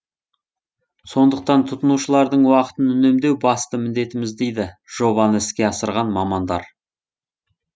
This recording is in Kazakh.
сондықтан тұтынушылардың уақытын үнемдеу басты міндетіміз дейді жобаны іске асырған мамандар